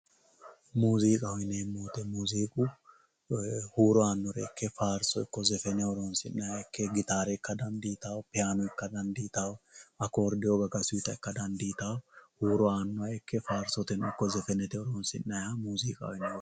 Muziqaho yinemo woyite muziqu huro anore ike hirisinayiha gitare ika danditawo payino ika danditawo akoridewo gagasuta ika danditawo huro ani warsote woy zefenete hirisinayiha moziqaho yinanni